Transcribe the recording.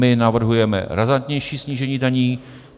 My navrhujeme razantnější snížení daní.